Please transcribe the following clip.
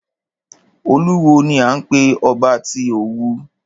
Olówù ni à ń pé ọba tí Òwu.